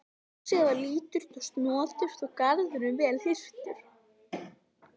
Húsið var lítið og snoturt og garðurinn vel hirtur.